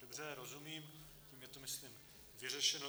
Dobře, rozumím, tím je to myslím vyřešeno.